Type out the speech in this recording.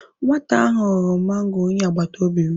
Nwata ahụ ghọrọ mango onye agbataobi m.